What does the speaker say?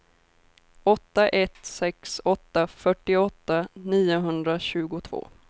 åtta ett sex åtta fyrtioåtta niohundratjugotvå